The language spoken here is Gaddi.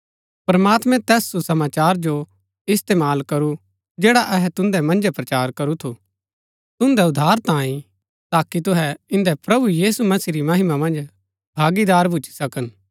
प्रमात्मैं तैस सुसमाचार जो इस्तेमाल करू जैड़ा अहै तुन्दै मन्जै प्रचार करू थू तुन्दै उद्धार तांये ताकि तुहै इन्दै प्रभु यीशु मसीह री महिमा मन्ज भागीदार भूच्ची सकन